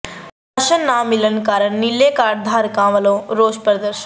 ration ਨਾ ਮਿਲਣ ਕਾਰਨ ਨੀਲੇ ਕਾਰਡ ਧਾਰਕਾਂ ਵੱਲੋਂ ਰੋਸ ਪ੍ਦਰਸ਼ਨ